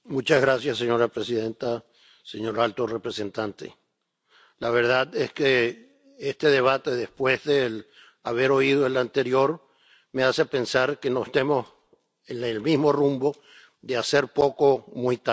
Señora presidenta, señor alto representante, la verdad es que este debate, después de haber oído el anterior, me hace pensar que no estemos en el mismo rumbo de hacer poco muy tarde.